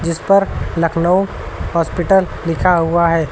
इस पर लखनऊ हॉस्पिटल लिखा हुआ है।